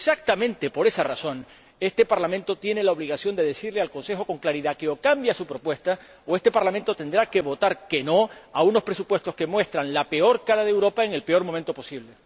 Y exactamente por esa razón, este Parlamento tiene la obligación de decirle al Consejo con claridad que, o cambia su propuesta, o este Parlamento tendrá que votar en contra de unos presupuestos que muestran la peor cara de Europa en el peor momento posible.